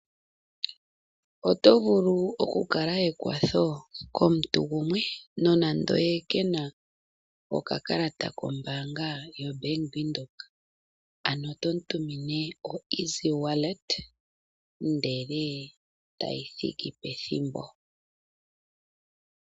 Oto vulu okukala ekwatho komuntu gumwe, nonando ye kena okakalata kombaanga yoBank Windhoek. Ano tomu tumine o Easy Wallet, ndele tayi thiki pethimbo.